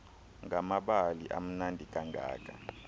ngamabali amnandi kangaka